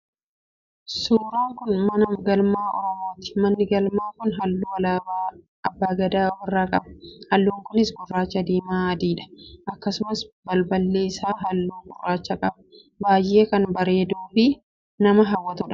Suuran kun mana galmaa oromooti. Manni galmaa kun halluu alaabaa abbaa gadaa ofirraa qaba. Halluun kunis, gurraacha, diimaa, adiidha. Akkasumas balballi isaa halluu gurraacha qaba baayyee kan bareeduu fi nama hawwatudha